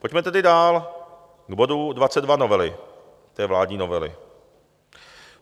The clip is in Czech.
Pojďme tedy dál k bodu 22 novely, té vládní novely.